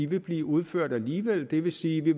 vil blive udført alligevel og det vil sige at vi